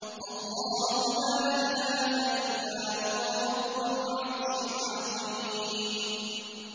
اللَّهُ لَا إِلَٰهَ إِلَّا هُوَ رَبُّ الْعَرْشِ الْعَظِيمِ ۩